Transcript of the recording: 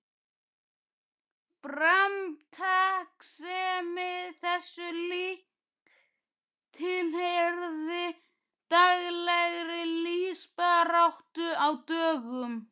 Framtakssemi þessu lík tilheyrði daglegri lífsbaráttu á dögum